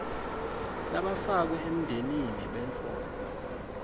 labafakwe emndenini bendvodza